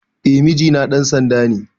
Eh mijina ɗan sanda ne